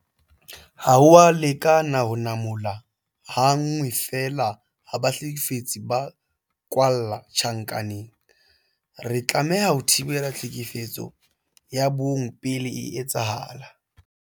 Ha ho a lekana ho namola ha nngwe feela ha bahlekefetsi ba kwalla tjhankaneng. Re tlameha ho thibela tlhekefetso ya bong pele e etsahala.